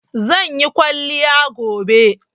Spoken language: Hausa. Zan yi kwalliya gobe